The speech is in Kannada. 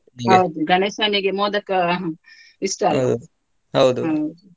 ಹೌದು ಗಣೇಶನಿಗೆ ಮೋದಕ ಹ ಇಷ್ಟ ಅಲ್ಲ .